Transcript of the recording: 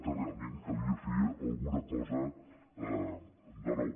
que realment calia fer alguna cosa de nou